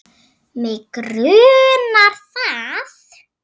Mig grunaði það!